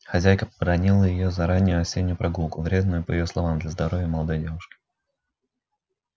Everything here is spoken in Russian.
хозяйка побранила её за раннюю осеннюю прогулку вредную по её словам для здоровья молодой девушки